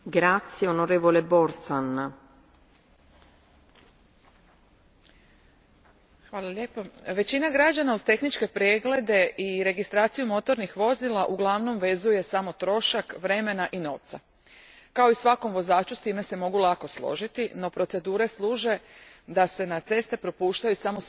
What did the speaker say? Gospođo predsjednice, većina građana uz tehničke preglede i registraciju motornih vozila uglavnom vezuje samo trošak vremena i novca. Kao i svaki vozač, s time se mogu lako složiti, no procedure služe da se na ceste propuštaju samo sigurna vozila.